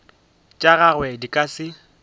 tša gagwe di ka se